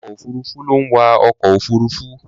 Awakọ̀ òfuruufú ló ń wa ọkọ̀ òfuruufú.